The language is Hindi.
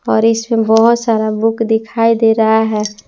और इसमें बहुत सारा बुक दिखाई दे रहा है।